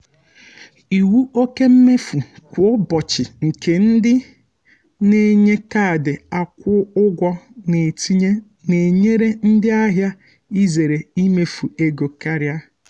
iwu oke mmefu kwa ụbọchị nke ndị na-enye kaadị akwụ ụgwọ na-etinye na-enyere ndị ahịa izere imefu ego karịa.